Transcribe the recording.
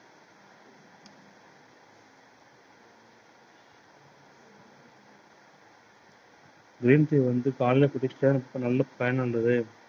green tea வந்து காலைல குடிக்க நல்ல வந்துது.